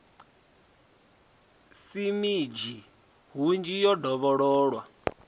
si minzhi hunzhi yo dovhololwa